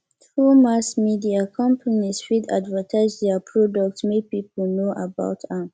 through mass media companies fit advertise their product make people know about am